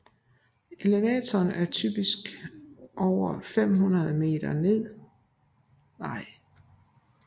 Elevationen er typisk over 500 meter med smalle floddale og dårlig landbrugspotentiale